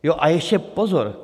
Jo, a ještě pozor!